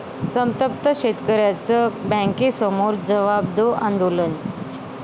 संतप्त शेतकऱ्यांचं बँकेसमोर 'जवाब दो' आंदोलन!